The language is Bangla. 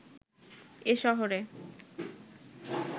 এ শহরে